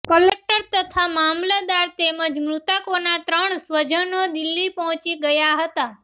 collector તથા મામલતદાર તેમજ મૃતકોના ત્રણ સ્વજનો દિલ્હી પહોંચી ગયા હતાં